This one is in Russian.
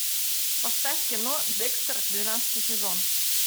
поставь кино декстер двенадцатый сезон